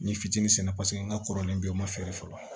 Ni fitinin paseke n ka kɔrɔlen u ma feere fɔlɔ